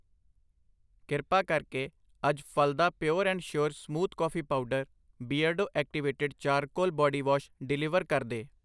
ਕਿਰਪਾ ਕਰਕੇ ਅੱਜ ਫ਼ਲਦਾ pure and sure smooth coffee powder Beardo activated charcoal body wash deliver ਕਰਦੇ